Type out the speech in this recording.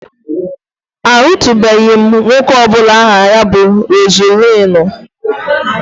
Ahụtụbeghị m nwoke ọ bụla aha ya bu Rozulinu